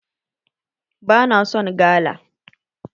Bana son gala